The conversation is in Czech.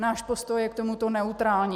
Náš postoj je k tomuto neutrální.